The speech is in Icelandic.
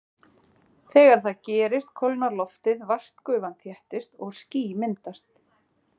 Þegar það gerist kólnar loftið, vatnsgufan þéttist og ský myndast.